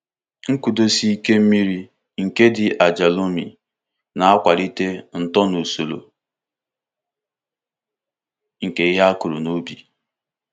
Nkụdọsị ike mmiri nke dị aja lomi na-akwalite ito na usoro nke ihe akuru n'ubi.